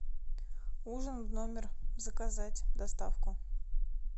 ужин в номер заказать доставку